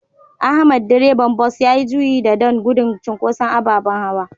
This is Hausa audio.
Ahmad Direban Bus yayi juyi da don gudun cinkoson ababen hawa.